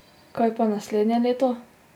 Kaj pa naslednje leto?